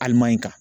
Alimayi kan